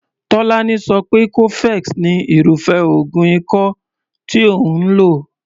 Tolani so pé cofex ni irúfé oògùn ikọ́ tí òun lò.